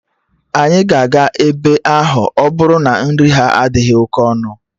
Anyị ga-aga ebe ahụ ọbụrụ na nri ha adịghị oke ọnụ